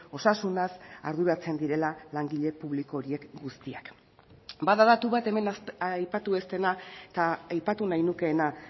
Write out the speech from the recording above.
osasunaz arduratzen direla langile publiko horiek guztiak bada datu bat hemen aipatu ez dena eta aipatu nahi nukeena